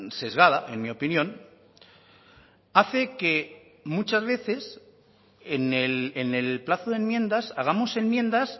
sesgada en mi opinión hace que muchas veces en el plazo de enmiendas hagamos enmiendas